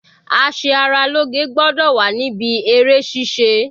A ṣe ara lóge gbọ́dọ̀ wà níbí eré ṣíṣe.